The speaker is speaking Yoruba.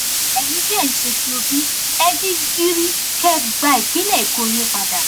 ẹyin tẹ ẹ ń ṣe tí òbí ẹ jí gìrì kẹ ẹ gba ìpínlẹ èkó yín padà